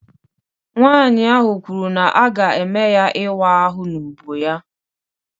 Nwanyị ahụ kwuru na a ga-eme ya ịwa ahụ n'úbọ ya